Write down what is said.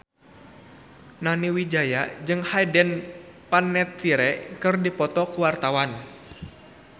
Nani Wijaya jeung Hayden Panettiere keur dipoto ku wartawan